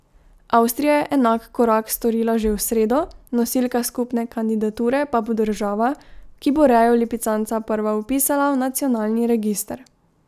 Avstrija je enak korak storila že v sredo, nosilka skupne kandidature pa bo država, ki bo rejo lipicanca prva vpisala v nacionalni register.